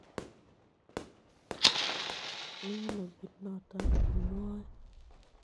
Mi ano kit noto imwae?